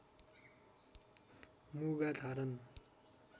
मुगा धारण